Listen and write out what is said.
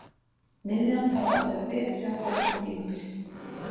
Miðjan þarf að vera betri á komandi tímabili.